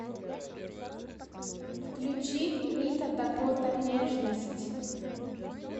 включи рита дакота нежность